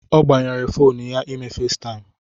Ọ agbanyere fonu ya ime Faistaimụ